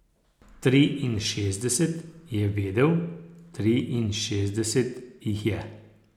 Triinšestdeset, je vedel, triinšestdeset jih je.